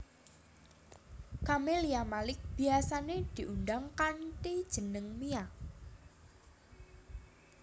Camelia Malik biyasané diundang kanthi jeneng Mia